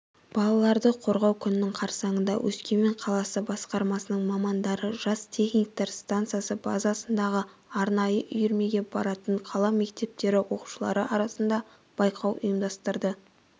балаларды қорғау күнінің қарсаңында өскемен қаласы басқармасының мамандары жас техниктер станциясы базасындағы арнайы үйірмеге баратын қала мектептері оқушылары арасында байқау ұйымдастырды